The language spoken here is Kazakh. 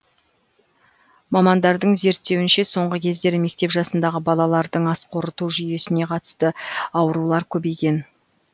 мамандардың зерттеуінше соңғы кездері мектеп жасындағы балалардың ас қорыту жүйесіне қатысты аурулар көбейген